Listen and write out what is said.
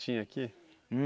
Tinha aqui?